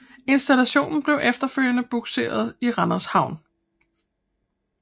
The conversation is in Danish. Instalationen blev efterfølgende bugseret i Randers havn